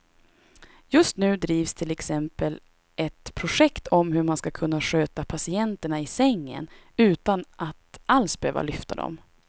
Just nu drivs till exempel ett projekt om hur man ska kunna sköta patienterna i sängen utan att alls behöva lyfta dem.